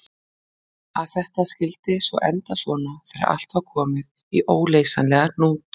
Að þetta skyldi svo enda svona þegar allt var komið í óleysanlegan hnút!